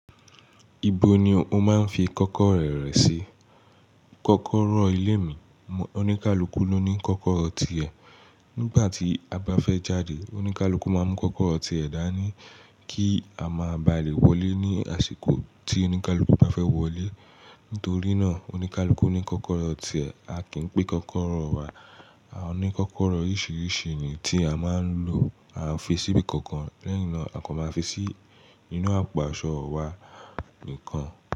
Ibo ni o máa ń fi kọ́kọ́rọ́ rẹ̀ re sí? Kọ́kọ́rọ́ ilé mi, oníkálukú ló ní kọ́kọ́rọ́ tiẹ̀. Nígbà tí a bá fẹ́ jáde, oníkálukú máa mú kọ́kọ́rọ́ tiẹ̀ dá ní kí a má bà lé wọlé ní àsìkò tí oníkálukú bá fẹ́ wọlé. Nítorí náà oníkálukú ní kọ́kọ́rọ́ tiẹ̀, a kì í pin kọ́kọ́rọ́ wa. A ní kọ́kọ́rọ́ oríṣiríṣi ni tí a máa ń lò. A ò fi síbi kankan lẹ́yin náà, a kò máa fi sí inú àpò àṣọ wa nìkan.